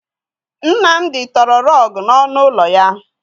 Nnamdi tọrọ rọọgụ n'ọnụ ụlọ ya.